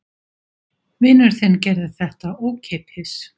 Vinur þinn gerði þetta ókeypis.